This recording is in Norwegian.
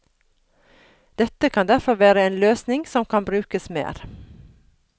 Dette kan derfor være en løsning som kan brukes mer.